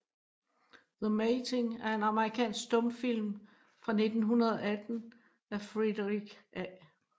The Mating er en amerikansk stumfilm fra 1918 af Frederick A